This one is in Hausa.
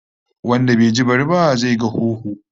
Wanda bai ji bari ba, zai ga hoho